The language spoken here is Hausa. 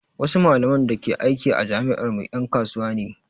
Wasu malaman da ke aiki a jami'ar mu ƴan kasuwa ne